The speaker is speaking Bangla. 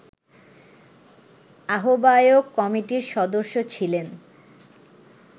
আহ্বায়ক কমিটির সদস্য ছিলেন